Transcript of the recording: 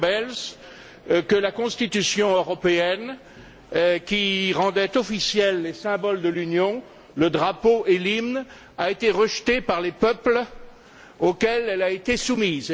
Goebbels que la Constitution européenne qui rendait officiels les symboles de l'Union le drapeau et l'hymne a été rejetée par les peuples auxquels elle a été soumise.